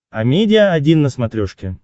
амедиа один на смотрешке